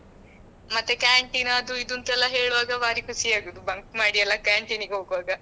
ಮತ್ತೆ canteen ಅದು ಇದು ಅಂತ ಎಲ್ಲ ಹೇಳುವಾಗ ಭಾರಿ ಖುಷಿ ಆಗುವುದು bunk ಮಾಡಿ ಎಲ್ಲ canteenಗೆ ಹೋಗುವಾಗ.